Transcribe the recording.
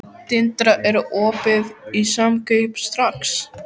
Tindra, er opið í Samkaup Strax?